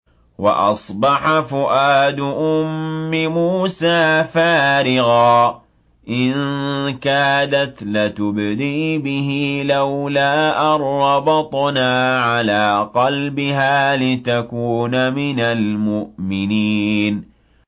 وَأَصْبَحَ فُؤَادُ أُمِّ مُوسَىٰ فَارِغًا ۖ إِن كَادَتْ لَتُبْدِي بِهِ لَوْلَا أَن رَّبَطْنَا عَلَىٰ قَلْبِهَا لِتَكُونَ مِنَ الْمُؤْمِنِينَ